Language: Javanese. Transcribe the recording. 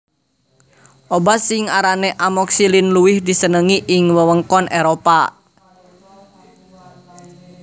Obat sing arane amoxicillin luwih disenengi ing wewengkon Éropah